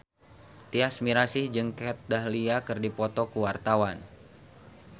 Tyas Mirasih jeung Kat Dahlia keur dipoto ku wartawan